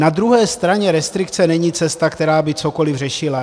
Na druhé straně restrikce není cesta, která by cokoliv řešila.